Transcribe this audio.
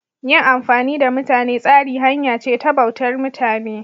Yin amfani da mutane tsari hanya ce ta bautar mutane.